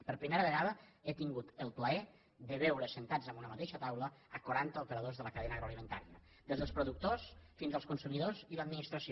per primera vegada he tin gut el plaer de veure asseguts en una mateixa taula quaranta operadors de la cadena agroalimentària des dels productors fins als consumidors i l’administració